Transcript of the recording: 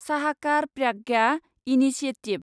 साहाकार प्राज्ञा इनिशिएटिभ